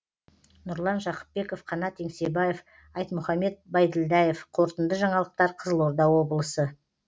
нұрлан жақыпбеков қанат еңсебаев айтмұхамед байділдаев қорытынды жаңалықтар қызылорда облысы